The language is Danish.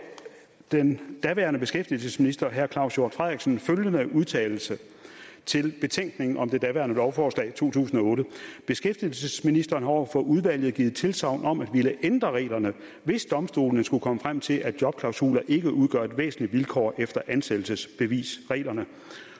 den daværende beskæftigelsesminister herre claus hjort frederiksen følgende udtalelse i betænkningen om det daværende lovforslag i 2008 beskæftigelsesministeren har over for udvalget givet tilsagn om at ville ændre reglerne hvis domstolene skulle komme frem til at jobklausuler ikke udgør et væsentligt vilkår efter ansættelsesbevisreglerne